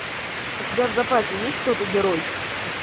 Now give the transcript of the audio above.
у тебя в запасе есть тото герой